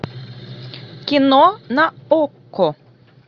кино на окко